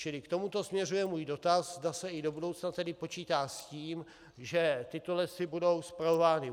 Čili k tomuto směřuje můj dotaz, zda se i do budoucna tedy počítá s tím, že tyto lesy budou spravovány